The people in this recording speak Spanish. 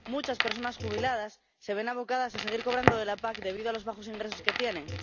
Muchas personas jubiladas se ven abocadas a seguir cobrando de la PAC debido a los bajos ingresos que tienen.